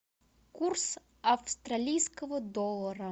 курс австралийского доллара